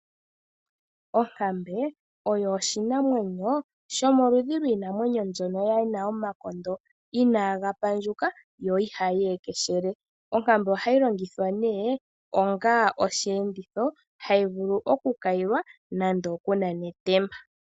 Onkambe oyo oshinamwenyo shomoludhi lwiinamwenyo mbyono yina omakondo inaaga pandjuka yo ihayi ekeshele, onkambe ohayi longithwa nee onga oshi enditho hayi vulu oku kayilwa nando oku nana etemba.